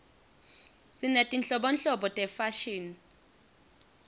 sinetinhlobonhlobo tefashini